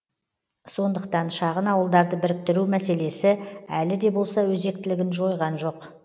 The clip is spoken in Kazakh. сондықтан шағын ауылдарды біріктіру мәселесі әлі де болса өзектілігін жойған жоқ